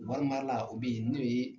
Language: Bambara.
Wari mara la o bɛ yen n'o ye